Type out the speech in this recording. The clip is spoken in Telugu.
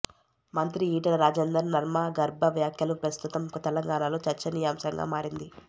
మంత్రి ఈటెల రాజేందర్ నర్మగర్భ వ్యాఖ్యలు ప్రస్తుతం తెలంగాణలో చర్చనీయాంశంగా మారింది